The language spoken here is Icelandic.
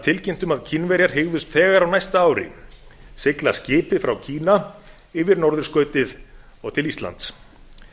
tilkynnt um að kínverjar hygðust þegar á næsta ári sigla skipi frá kína yfir norðurskautið og til íslands